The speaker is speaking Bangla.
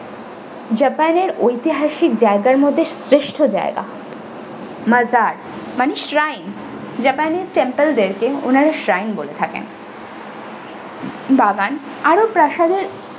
japan এর ঐতিহাসিক জায়গার মধ্যে শ্রেষ্ঠ জায়গা majarmani shrine japanese temple দের কে উনারা shrine বলে থাকেন বাগান আরও প্রাসাদের।